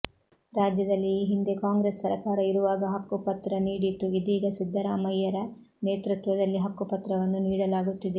ರಾಜ್ಯದಲ್ಲಿ ಈ ಹಿಂದೆ ಕಾಂಗ್ರೆಸ್ ಸರಕಾರ ಇರುವಾಗ ಹಕ್ಕುಪತ್ರ ನೀಡಿತ್ತು ಇದೀಗ ಸಿದ್ದರಾಮಯ್ಯರ ನೇತೃತ್ವದಲ್ಲಿ ಹಕ್ಕು ಪತ್ರವನ್ನು ನೀಡಲಾಗುತ್ತಿದೆ